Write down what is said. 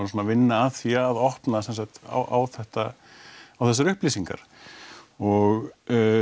vinna að því að opna á þetta og þessar upplýsingar og